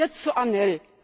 Und jetzt zu ANEL.